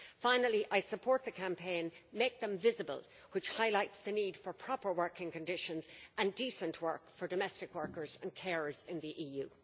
Finally, I support the campaign Make them visible', which highlights the need for proper working conditions and decent work for domestic workers and carers in the EU.